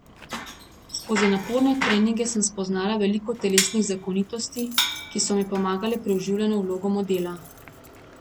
Skozi naporne treninge sem spoznala veliko telesnih zakonitosti, ki so mi pomagale pri vživljanju v vlogo modela.